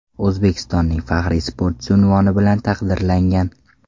O‘zbekistonning faxriy sportchisi unvoni bilan taqdirlangan.